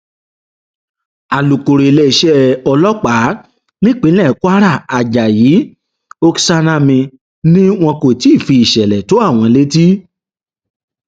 alūkọrọ iléeṣẹ ọlọpàá nípínlẹ kwara ajayi oksanami ni wọn kò tí ì fi ìsẹlẹ tó àwọn létí